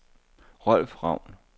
Rolf Ravn